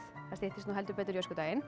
það styttist í öskudaginn